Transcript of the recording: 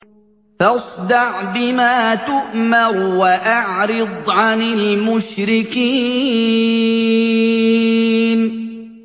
فَاصْدَعْ بِمَا تُؤْمَرُ وَأَعْرِضْ عَنِ الْمُشْرِكِينَ